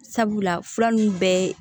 Sabula fura nunnu bɛɛ ye